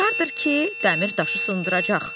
Aşiqardır ki, dəmir daşı sındıracaq.